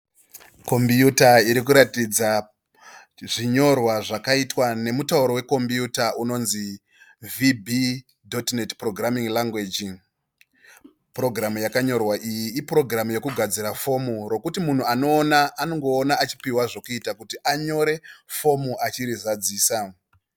Kopiyuta iri kuratidza zvinyorwa zvakaitwa nemutauro weKopiyuta unonzi, 'VB DOT NET PROGRAMMING LANGUAGE' . Purogiramu yakanyorwa iyi ipurogiramu yekugadzira fomu rokuti munhu anoona anongoona achipihwa zvokuita kuti anyore fomu achiri zadzisa.